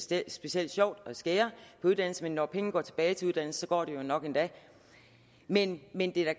det er specielt sjovt at skære på uddannelse men når pengene går tilbage til uddannelse går det jo nok endda men men det er